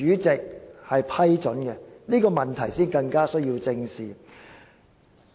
這問題反而更需要正視。